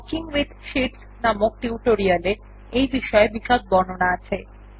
working with sheets নামক tutorial এ এই বিষয় বিশদ বিবরণ আছে